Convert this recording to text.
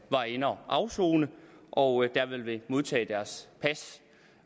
var inde og afsone og der vil modtage deres pas